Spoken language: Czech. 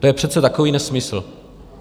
To je přece takový nesmysl!